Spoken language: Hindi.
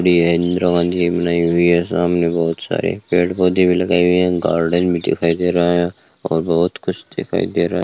यह बनाई हुई है सामने बहुत सारे पेड़ पौधे भी लगाए हुए हैं गार्डन भी दिखाई दे रहा है और बहुत कुछ दिखाई दे रहा है।